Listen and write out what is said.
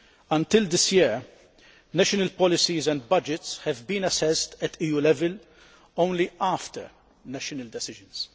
Until this year, national policies and budgets had been assessed at EU level only after national decisions.